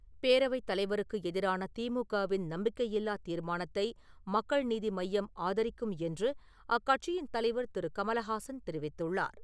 பேரவைத் தலைவருக்கு எதிரான திமுக-வின் நம்பிக்கையில்லா தீர்மானத்தை மக்கள் நீதி மையம் ஆதரிக்கும் என்று அக்கட்சியின் தலைவர் திரு. கமலஹாசன் தெரிவித்துள்ளார்.